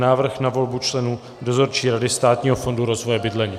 Návrh na volbu členů Dozorčí rady Státního fondu rozvoje bydlení